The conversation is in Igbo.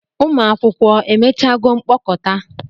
Ụmụ akwụkwọ emechago mkpokọta?